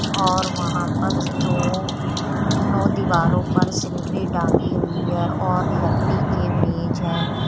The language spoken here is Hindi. और वहां पर दो नों दीवारों पर सीनरी टांगी हुई है और लकड़ी के मेज है।